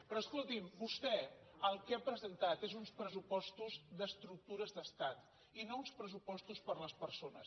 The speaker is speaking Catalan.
però escolti’m vostè el que ha presentat són uns pressupostos d’estructures d’estat i no uns pressupostos per a les persones